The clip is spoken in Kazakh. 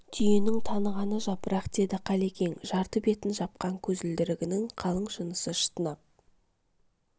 түйенің танығаны жапырақ деді қалекең жарты бетін жапқан көзілдірігінің қалың шынысы шатынап